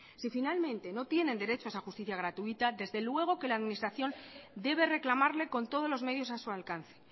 si finalmente no tienen derecho a esa justicia gratuita desde luego que la administración debe reclamarle con todos los medios a su alcance